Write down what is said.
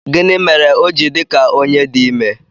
Gịnị mere o ji dị ka onye di ime?